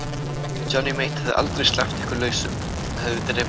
Johnny Mate hefði aldrei sleppt ykkur lausum, hann hefði drepið ykkur.